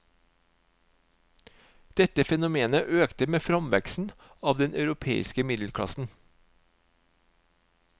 Dette fenomenet økte med framveksten av den europeiske middelklassen.